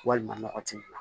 Walima nɔgɔ ti bila